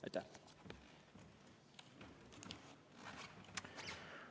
Aitäh!